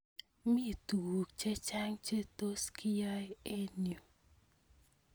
Mi tuk chechang' che tos kyai eng' yu.